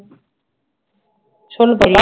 சொல்லு